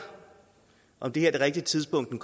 om det er det rigtige tidspunkt den